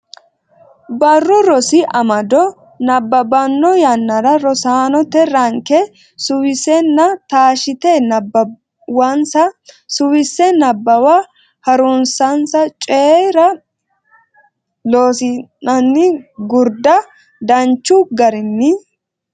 Barru Rosi Amado nabbabbanno yannara rosaanote ranke suwisenna taashshite nabbawansa Suwise Nabbawa ha runsinsa Coy ra Loossinanni Gurda danchu garinni.